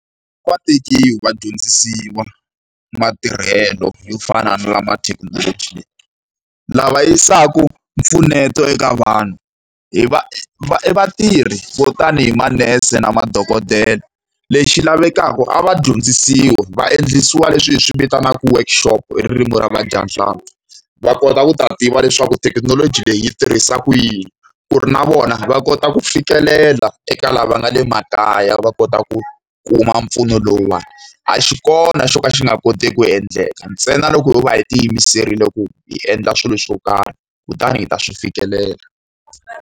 Va tekiwe va dyondzisiwa matirhelo yo fana na lama thekinoloji leyi. Lava yisaka mpfuneto eka vanhu i i vatirhi vo tani hi manese na madokodela. Lexi lavekaka a va dyondzisiwe, va endlisiwa leswi hi swi vitanaka workshop hi ririmi ra vadyanhlampfi. Va kota ku ta tiva leswaku thekinoloji leyi tirhisiwaka yini, ku ri na vona va kota ku fikelela eka lava nga le makaya va kota ku kuma mpfuno lowuwani. A xi kona xo ka xi nga koteki ku endleka ntsena loko ho va hi tiyimiserile ku hi endla swilo swo karhi, kutani hi ta swi fikelela.